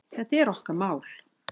Þetta er okkar mál.